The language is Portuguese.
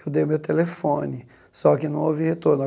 Eu dei o meu telefone, só que não houve retorno.